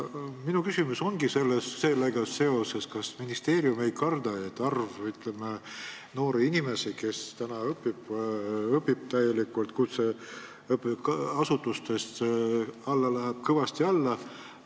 Minu küsimus ongi sellega seoses: kas ministeerium ei karda, et nende noorte inimeste arv, kes õpivad täielikult kutseasutustes, läheb kõvasti alla?